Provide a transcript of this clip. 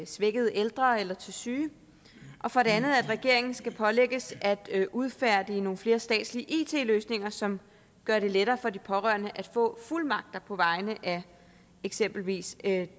svækkede ældre eller til syge og for det andet at regeringen skal pålægges at udfærdige nogle flere statslige it løsninger som gør det lettere for de pårørende at få fuldmagt på vegne af eksempelvis